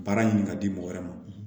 Baara ɲini ka di mɔgɔ wɛrɛ ma